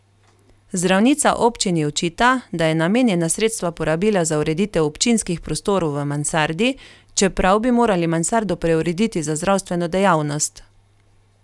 Zdravnica občini očita, da je namenjena sredstva porabila za ureditev občinskih prostorov v mansardi, čeprav bi morali mansardo preurediti za zdravstveno dejavnost.